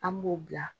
An b'o bila